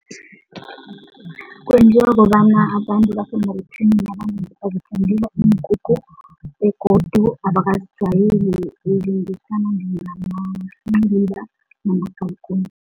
Kwenziwa kobana abantu iinkukhu begodu abakazijwayeli izinto ezifana njengamanciliba namagalikuni.